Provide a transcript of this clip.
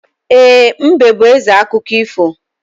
E, mbe bú ézè akụkọ ifo